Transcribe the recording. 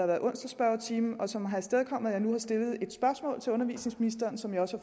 været spørgetime om onsdagen og som har afstedkommet at jeg nu har stillet et spørgsmål til undervisningsministeren som jeg også